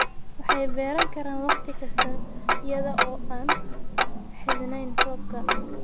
Waxay beeran karaan wakhti kasta iyada oo aan ku xidhnayn roobka.